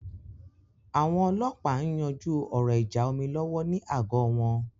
Àwọn ọlọ́ọ̀pá ń yanjú ọ̀rọ̀ ìjà omi lọ́wọ́ ní àgọ́ wọn